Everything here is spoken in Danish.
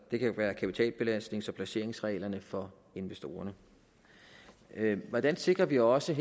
det kan være kapitalbelastnings og placeringsreglerne for investorerne hvordan sikrer vi også